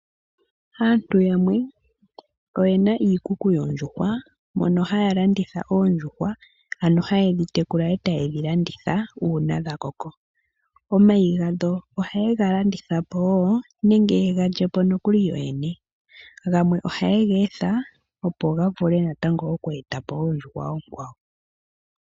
Aantu yamwe oyena iikuku yoondjuhwa mono haya landitha oondjuhwa, no haye dhi tekula etaye dhi landitha uuna dha koko. Omayi gadho ohaye ga landitha po woo nenge ye ga lye po no kuli yo yene. Gamwe oha ye ga etha ppp ga vule na tango oku etapo oondjuhwa oonkwawo